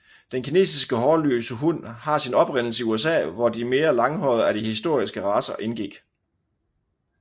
Den kinesiske hårløse hund har sin oprindelse i USA hvor de mere langhårede af de historiske racer indgik